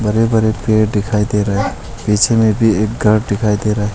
हरे भरे पेड़ दिखाई दे रहा है पीछे में भी एक कार दिखाई दे रहा है।